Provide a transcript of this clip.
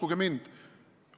Uskuge mind!